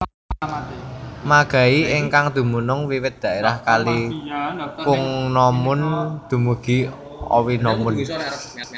Magai ingkang dumunung wiwit daerah kali Kungnomun dumugi Owinomun